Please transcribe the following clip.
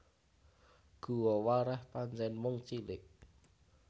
Guwa Wareh pancen mung cilik